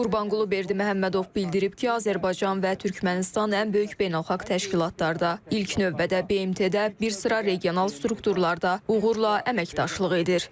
Qurbanqulu Berdiməhəmmədov bildirib ki, Azərbaycan və Türkmənistan ən böyük beynəlxalq təşkilatlarda, ilk növbədə BMT-də, bir sıra regional strukturlarda uğurla əməkdaşlıq edir.